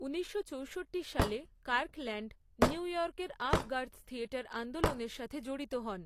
ঊনিশশো চৌষট্টি সালে, কার্কল্যান্ড, নিউ ইয়র্কের আভঁ গার্দ থিয়েটার আন্দোলনের সাথে জড়িত হন।